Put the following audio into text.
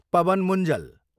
Pawan Munjal